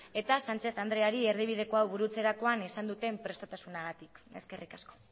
eta sánchez andreari erdibidekoa burutzerakoan izan duten prestotasunagatik eskerrik asko